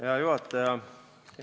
Hea juhataja!